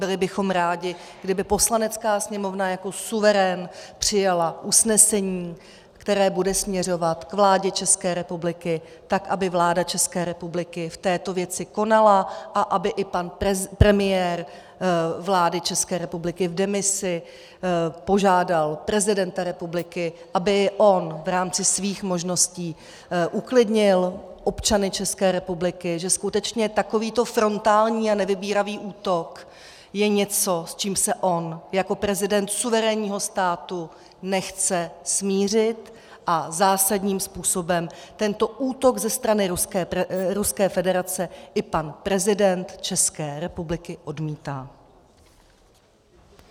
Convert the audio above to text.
Byli bychom rádi, kdyby Poslanecká sněmovna jako suverén přijala usnesení, které bude směřovat k vládě České republiky tak, aby vláda České republiky v této věci konala a aby i pan premiér vlády České republiky v demisi požádal prezidenta republiky, aby i on v rámci svých možností uklidnil občany České republiky, že skutečně takovýto frontální a nevybíravý útok je něco, s čím se on jako prezident suverénního státu nechce smířit a zásadním způsobem tento útok ze strany Ruské federace i pan prezident České republiky odmítá.